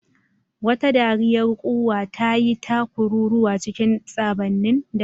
Wata dariyar ƙuwa ta yi ta kururuwa cikin saɓanin dare.